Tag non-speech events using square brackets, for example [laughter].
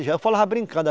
[unintelligible] Eu falava brincando, ela